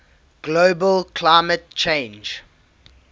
global climate change